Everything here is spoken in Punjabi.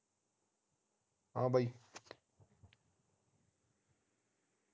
ਹਾਂ ਬਾਈ